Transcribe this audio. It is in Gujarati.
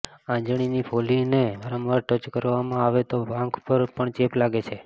આંજણીની ફોલ્લીને વારંવાર ટચ કરવામાં આવે તો આંખ પર પણ ચેપ લાગે છે